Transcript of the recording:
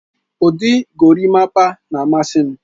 Ụdị gorimapa na-amasị m.